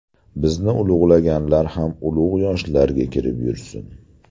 Bizni ulug‘laganlar ham ulug‘ yoshlarga kirib yursin!”.